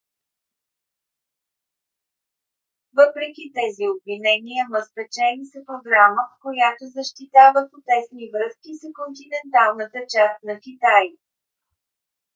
въпреки тези обвинения ма спечели с програма която защитава по-тесни връзки с континенталната част на китай